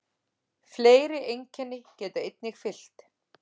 Fleiri einkenni geta einnig fylgt.